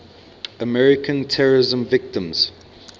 american terrorism victims